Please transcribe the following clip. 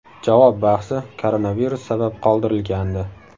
Javob bahsi koronavirus sabab qoldirilgandi.